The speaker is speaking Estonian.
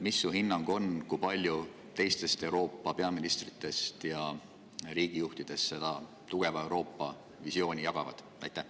Mis su hinnang on, kui paljud teised Euroopa peaministrid ja riigijuhid seda tugeva Euroopa visiooni jagavad?